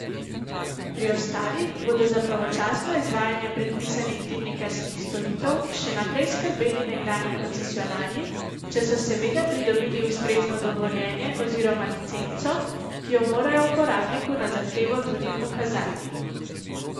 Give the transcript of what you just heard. Pri ostalih bodo za pravočasno izvajanje predpisanih dimnikarskih storitev še naprej skrbeli nekdanji koncesionarji, če so seveda pridobili ustrezno dovoljenje oziroma licenco, ki jo morajo uporabniku na zahtevo tudi pokazati.